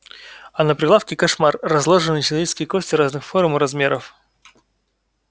а на прилавке кошмар разложены человеческие кости разных форм и размеров